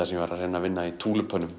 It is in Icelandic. sem ég var að reyna að vinna í